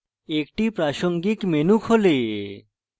একটি প্রাসঙ্গিক menu খোলে